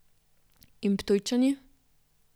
In Ptujčani?